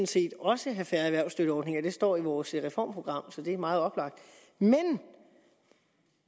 set også have færre erhvervsstøtteordninger det står i vores reformprogram så det er meget oplagt men